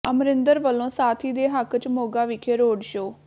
ਅਮਰਿੰਦਰ ਵਲੋਂ ਸਾਥੀ ਦੇ ਹੱਕ ਚ ਮੋਗਾ ਵਿਖੇ ਰੋਡ ਸ਼ੋਅ